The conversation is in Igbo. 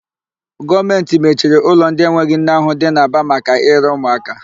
Gọọmentị mechiri ụlọ ndị enweghị nne ahụ dị n'Aba maka ire ụmụaka.